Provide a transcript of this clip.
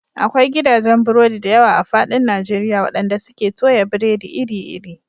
Akwai gidajen burodi da yawa a faɗin Najeriya waɗanda suke toya biredi iri-iri.